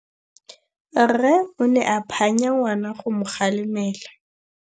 Rre o ne a phanya ngwana go mo galemela.